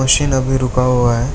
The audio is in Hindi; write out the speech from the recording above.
शीन अभी रूका हुआ है।